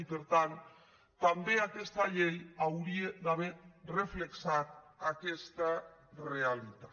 i per tant també aquesta llei hauria d’haver reflectit aquesta realitat